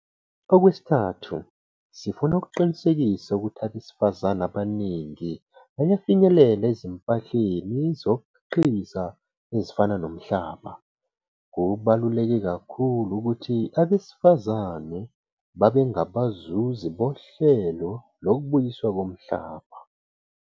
Okwesithathu, sifuna ukuqinisekisa ukuthi abesifazane abaningi bayafinyelela ezimpahleni zokukhiqiza ezifana nomhlaba. Kubaluleke kakhulu ukuthi abesifazane babe ngabazuzi bohlelo lokubuyiswa komhlaba.